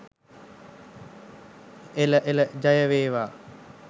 එළ එළ ජය වේවා!